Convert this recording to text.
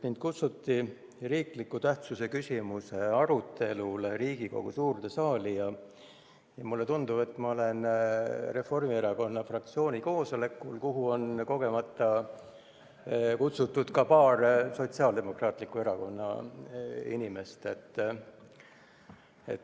Mind kutsuti riikliku tähtsusega küsimuse arutelule Riigikogu suurde saali ja mulle tundub, et ma olen Reformierakonna fraktsiooni koosolekul, kuhu on kogemata kutsutud ka paar Sotsiaaldemokraatliku Erakonna inimest.